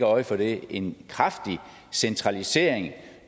øje for det en kraftig centralisering